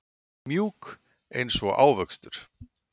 Mjúk einsog ávöxtur.